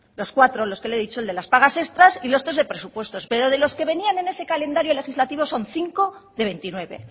los cuatro los que le he dicho el de las pagas extras y los tres de presupuestos pero de los que venían en ese calendario legislativo son cinco de veintinueve